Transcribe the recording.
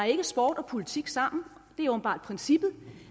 sport og politik sammen det er åbenbart princippet